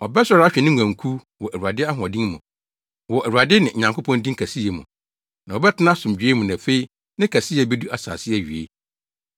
Ɔbɛsɔre ahwɛ ne nguankuw wɔ Awurade ahoɔden mu, wɔ Awurade ne Nyankopɔn din kɛseyɛ mu. Na wɔbɛtena asomdwoe mu, na afei ne kɛseyɛ bedu asase awiei.